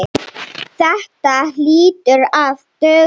Þetta hlýtur að duga.